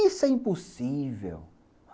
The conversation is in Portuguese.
Isso é impossível.